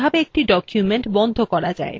writerএ কিভাবে একটি document বন্ধ করা যায়